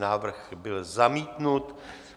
Návrh byl zamítnut.